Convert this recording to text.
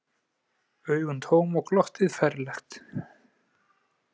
Augun tóm og glottið ferlegt.